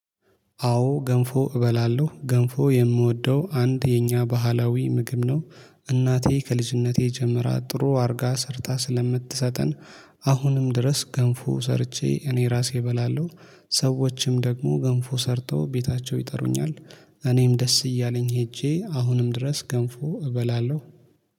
አዎ ገንፎ እበላለሁ ገንፎ የምወደው አንድ የኛ ባህላዊ ምግብ ነው። እናቴ ከልጅነቴ ጀምራ ጥሩ አድርጋ ሰርታ ስለምትሰጠን። አሁንም ድረስ ገንፎ ሰርቼ እኔ ራሴ እበላለሁ። ሰዎችም ደግሞ ገንፎ ሰርተው ቤታቸው ይጠሩኛል። እኔም ደስ እያለኝ ሄጄ አሁንም ድረስ ገንፎ እበላለሁ